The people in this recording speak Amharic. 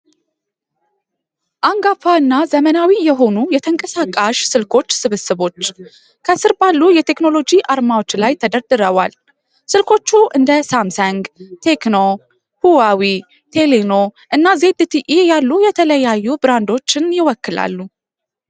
አንጋፋ እና ዘመናዊ የሆኑ የተንቀሳቃሽ ስልኮች ስብስቦች፣ ከስር ባሉ የቴክኖሎጂ አርማዎች ላይ ተደርድረዋል። ስልኮቹ እንደ ሳምሰንግ፣ ቴሌኖ፣ ቴክኖ፣ ሁዋዌ እና ዜድቲኢ ያሉ የተለያዩ ብራንዶችን ይወክላሉ።